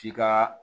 K'i ka